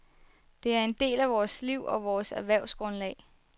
Det er en del af vores liv og vores erhvervsgrundlag.